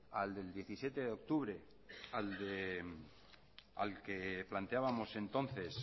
al diecisiete de octubre al que planteábamos entonces